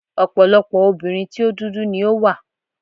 Ọ̀pọ̀lọpọ̀ obìnrin tí o dúdú ni ó wà.